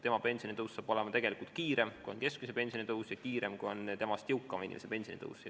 Selle pensioni tõus on tegelikult kiirem, kui on keskmise pensioni tõus, ja kiirem, kui on jõukama inimese pensioni tõus.